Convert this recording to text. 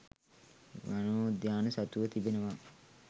වනෝද්‍යාන සතුව තිබෙනවා